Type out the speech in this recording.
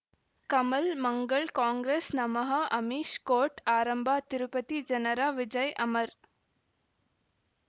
ಕಮಲ್ ಮಂಗಳ್ ಕಾಂಗ್ರೆಸ್ ನಮಃ ಅಮಿಷ್ ಕೋರ್ಟ್ ಆರಂಭ ತಿರುಪತಿ ಜನರ ವಿಜಯ್ ಅಮರ್